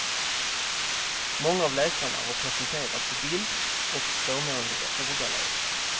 Många av läkarna har presenterats i bild och förmånliga ordalag.